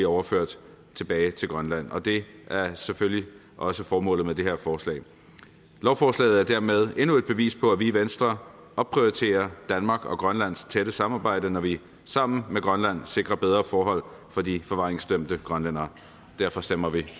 overføres tilbage til grønland og det er selvfølgelig også formålet med det her forslag lovforslaget er dermed endnu et bevis på at vi i venstre opprioriterer danmark og grønlands tætte samarbejde når vi sammen med grønland sikrer bedre forhold for de forvaringsdømte grønlændere derfor stemmer vi